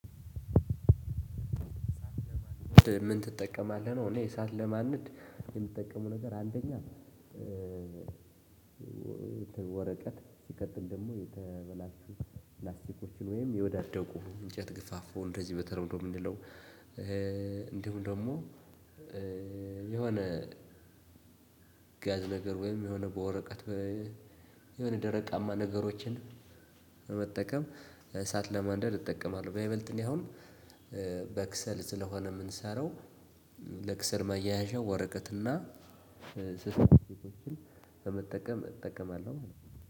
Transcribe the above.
ምን ትጠቀማለህ ነው እኔ እሳት ለማንድ የምጠቀመው ነገር አንደኛ ወረቀት ሲቀጥል ደግሞ የተበላሹ ፕላስቲኮችን ወይም የወዳደቁ እንጨት ግፋፉ እንደዚህ በተለምዶ የምንለው እንዲሁም ደግሞ የሆነ ጋዝ ነገር ወይም የሆነ በወረቀት የሆነ ደረቃማ ነገሮችን መጠቀም እሳት ለማንደር እጠቀማለሁ። በይበልጥ እኔ አሁን በክሰል ስለሆነ የምንሰራው ለክሰል ማያያዣ ወረቀትና በመጠቀም እጠቀማለሁ።